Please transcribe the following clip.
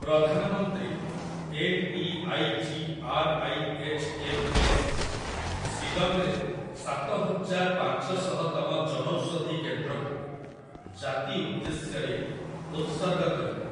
ପ୍ରଧାନମନ୍ତ୍ରୀ N. E. I. G. R. I. H. M. S., ଶିଲଂରେ ସାତହଜାର ପାଞ୍ଚଶହତମ ଜନୌଷଧି କେନ୍ଦ୍ରକୁ ଜାତି ଉଦ୍ଦେଶ୍ୟରେ ଉତ୍ସର୍ଗ କରିବେ ।